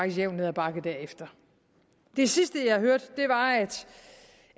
jævnt ned ad bakke derefter det sidste jeg hørte var